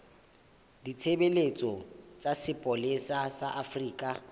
ditshebeletso tsa sepolesa sa afrika